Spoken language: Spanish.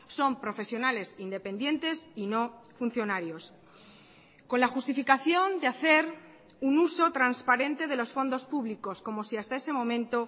son profesionales independientes y no funcionarios con la justificación de hacer un uso transparente de los fondos públicos como si hasta ese momento